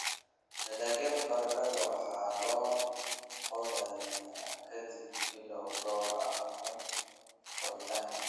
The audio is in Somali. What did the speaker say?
Dalagyada baradhada waxaa la qodayaa ka dib bilo dhowr ah oo koritaanka.